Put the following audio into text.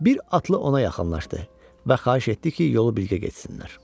Bir atlı ona yaxınlaşdı və xahiş etdi ki, yolu birgə getsinlər.